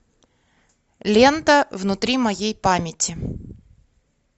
лента внутри моей памяти